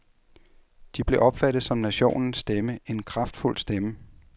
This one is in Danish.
De blev opfattet som nationens stemme, en kraftfuld stemme.